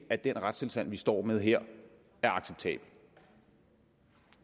at den retstilstand vi står med her er acceptabel